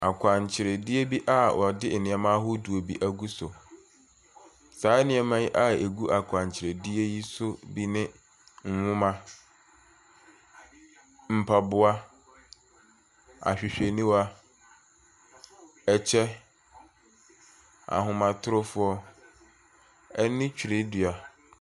Akwankyerɛdeɛ bi a wɔde nneɔma ahodoɔ bi agu so. Saa nneɛma yi a wɔde agu akwankyerɛdeɛ yi so bi ne, nhoma, mpaboa, ahwehwɛniwa, ɛkyɛ, ahomatrofoɔ ɛne twerɛdua.